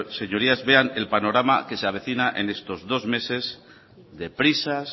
sus señorías vean el panorama que se avecina en estos dos meses de prisas